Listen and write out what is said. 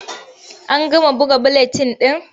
An gama buga buletin ɗin?